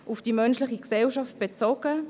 auf die menschliche Gemeinschaft bezogen;